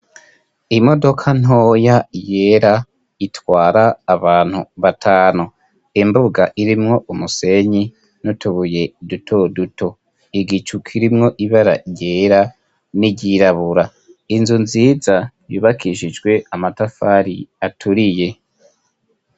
Imodoka ntoya yera itwara abantu batanu, imbuga irimwo umusenyi n'utubuye duto duto igicu kirimwo ibara ryera n'iryirabura, inzu nziza yubakishijwe amatafari aturiye.